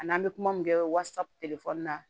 Ani an bɛ kuma min kɛ wasapu telefɔni na